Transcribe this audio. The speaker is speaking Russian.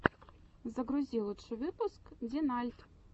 загрузи лучший выпуск динальт